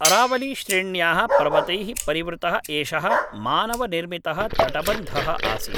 अरावलीश्रेण्याः पर्वतैः परिवृतः एषः मानवनिर्मितः तटबन्धः आसीत्